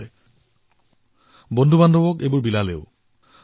তেওঁ এই পাথৰসমূহত ছবি অংকন কৰি নিজৰ বন্ধুক উপহাৰ দিবলৈ ধৰিলে